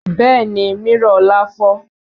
Bẹ́ẹ̀ni mírọ̀ ọlá fọ́